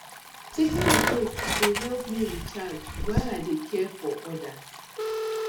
taking breaks dey help me recharge while i dey care for others